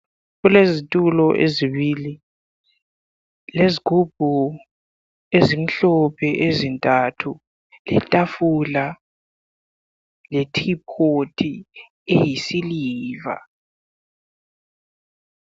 kulezitulo ezibili lezigubhu ezimhlophe ezintathu letafula le tipoti eyisiliver